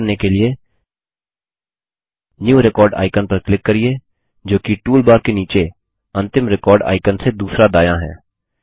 यह करने के लिए न्यू रेकॉर्ड आइकन पर क्लिक करिये जोकि टूलबार के नीचे अंतिम रिकॉर्ड आइकन से दूसरा दायाँ है